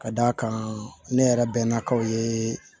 Ka d'a kan ne yɛrɛ bɛnna ka ye